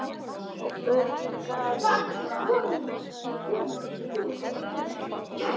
Og byrjunin gaf, eins og áður sagði, fögur fyrirheit.